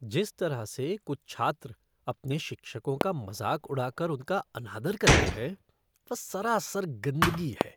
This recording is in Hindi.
जिस तरह से कुछ छात्र अपने शिक्षकों का मजाक उड़ाकर उनका अनादर करते हैं, वह सरासर गंदगी है।